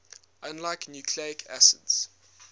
unlike nucleic acids